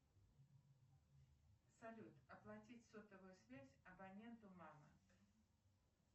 салют оплатить сотовую связь абоненту мама